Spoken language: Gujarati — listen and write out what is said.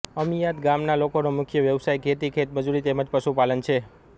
અમીયાદ ગામના લોકોનો મુખ્ય વ્યવસાય ખેતી ખેતમજૂરી તેમ જ પશુપાલન છે